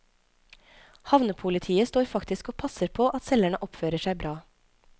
Havnepolitiet står faktisk og passer på at selgerne oppfører seg bra.